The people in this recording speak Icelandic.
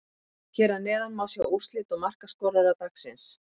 Hér að neðan má sjá úrslit og markaskorara dagsins: